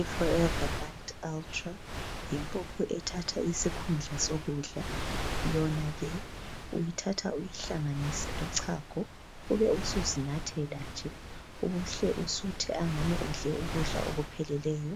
Iforever lite ultra yimpuphu ethatha isikhundla sokudla yona ke uyithatha uyihlanganise lochago ube usuzinathela nje uhle usuthe angani udle ukudla okupheleleyo,